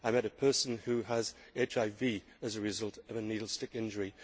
I met a person who has HIV as a result of a needle stick injury.